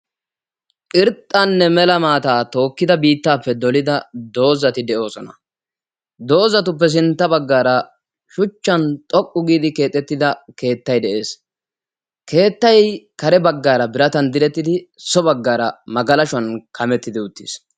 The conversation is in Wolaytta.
Irxxanne mela maata tokida bittappe dolida doozaati de'oosona; doozaatuppe sintta baggaara shuchchan xoqqu giidi keexetida keettay de'ees; keettay kare baggaara biratan direttidi so baggaara magaalashuwan kametidi uttis.